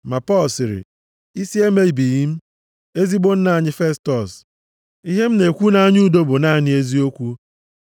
Ma Pọl sịrị, “Isi emebighị m, ezigbo nna anyị Festọs. Ihe m na-ekwu nʼanya udo bụ naanị eziokwu.